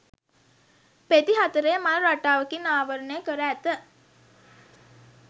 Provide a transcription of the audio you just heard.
පෙති හතරේ මල් රටාවකින් ආවරණය කර ඇත.